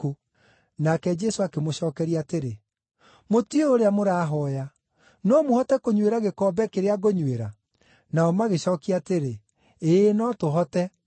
Nake Jesũ akĩmũcookeria atĩrĩ, “Mũtiũĩ ũrĩa mũrahooya. No mũhote kũnyuĩra gĩkombe kĩrĩa ngũnyuĩra?” Nao magĩcookia atĩrĩ, “Ĩĩ, no tũhote.”